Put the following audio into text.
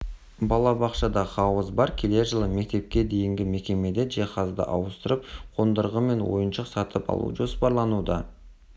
балабақшада хауыз бар келер жылы мектепке дейінгі мекемеде жиһазды ауыстырып қондырғы мен ойыншық сатып алу жоспарлануда